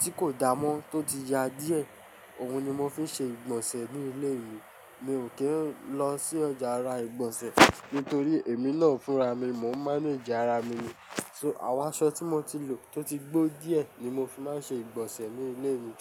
tí kò dáa mọ́, tó ti ya díẹ̀, òun ni mo fi ń ṣe ìgbọ̀nsẹ̀ ní ilé mi. Mi ò kí ń lọ sí ọjà ra ìgbọ̀nsẹ̀ nítorí èmi náà ń fúnra mi, mò ń mánage ara mi ni. So àwọn aṣọ tí mo ti lò tó ti gbó díẹ̀ ni mo fi máa ń ṣe ìgbọ̀nsẹ̀ ní ilé mi.